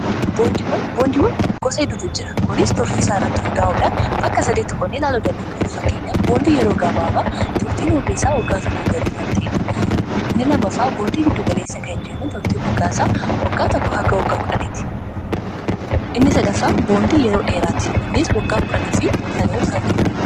Boondiiwwan gosa hedduutu jira. Kunis tortii isaa irratti hundaa'uudhaan bakka 8ti konnee laaloo dandeenyaaf fakkenya boondii yeroo gabaabaa tortiin omrii isaa waggaa tokku galii kan ta'eedha 2mfa boondii giddu galeessa kan jennu trtinnsadaffa oonoo dheeraati inni waggaa 1dhanii fi saniol kan turuudha.